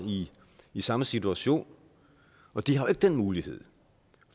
i samme situation og de har ikke den mulighed